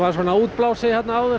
svona útblásið